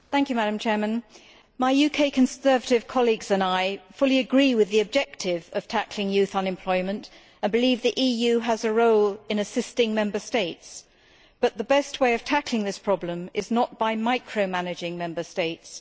Madam President, my UK Conservative colleagues and I fully agree with the objective of tackling youth unemployment and believe the EU has a role in assisting Member States, but the best way of tackling this problem is not by micro managing Member States.